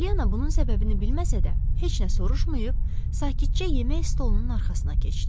Polyanna bunun səbəbini bilməsə də, heç nə soruşmayıb sakitcə yemək stolunun arxasına keçdi.